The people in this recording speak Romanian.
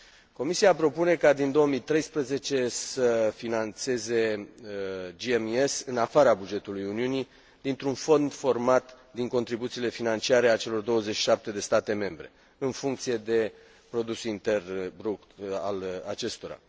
Comisia propune ca, din 2013, să finanțeze GMES în afara bugetului Uniunii, dintr un fond format din contribuțiile financiare ale celor 27 de state membre, în funcție de produsul intern brut al acestora.